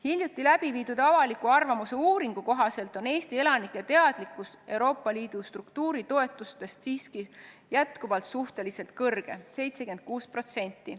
Hiljuti tehtud avaliku arvamuse uuringu kohaselt on Eesti elanike teadlikkus Euroopa Liidu struktuuritoetustest siiski jätkuvalt suhteliselt kõrge: 76%.